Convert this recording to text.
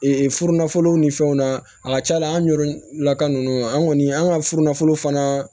Ee furu nafolo ni fɛnw na a ka ca la an ɲɛrɛ la ka ninnu an kɔni an ka furu nafolo fana